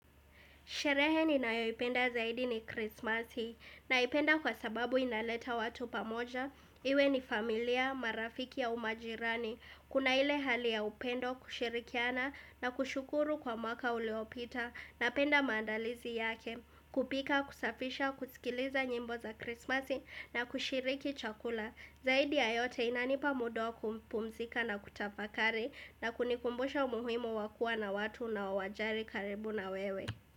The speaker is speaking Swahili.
Shereheni na yoipenda zaidi ni krismasi, naipenda kwa sababu inaleta watu pamoja, iwe ni familia, marafiki au majirani, kuna ile hali ya upendo kushirikiana na kushukuru kwa mwaka uliopita na penda maandalizi yake, kupika, kusafisha, kusikiliza nyimbo za krismasi na kushiriki chakula. Zaidi ya yote inanipa muda wa kumpumzika na kutafakari na kunikumbusha umuhimu wakuwa na watu unaowajari karibu na wewe.